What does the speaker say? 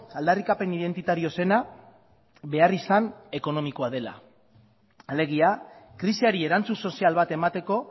aldarrikapen identitario zena beharrizan ekonomikoa dela alegia krisiari erantzun sozial bat emateko